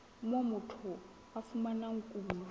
moo motho a fumanang kuno